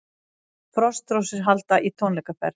Frostrósir halda í tónleikaferð